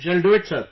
Shall do it Sir